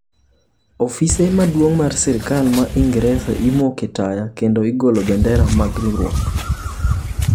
Ofise maduong mar Sirkal ma Ingresa imoke taya kendo igolo bendera mag riwruok.